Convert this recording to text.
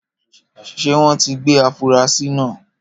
Ṣé wọ́n tí gbé afurasi náà?